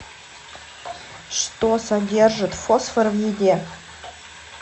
что содержит фосфор в еде